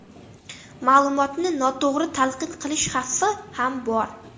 Ma’lumotni noto‘g‘ri talqin qilish xavfi ham bor.